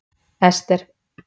Esther